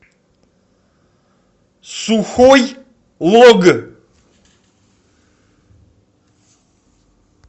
сухой лог